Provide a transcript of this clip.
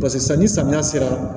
Paseke sisan ni samiya sera